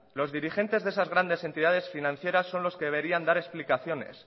los dirigentes de esas grandes entidades financieras son los que deberían dar explicaciones